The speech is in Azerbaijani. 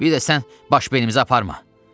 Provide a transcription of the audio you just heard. Bir də sən baş beynimizi aparma!"